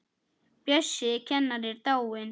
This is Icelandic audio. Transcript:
Bjössi kennari er dáinn.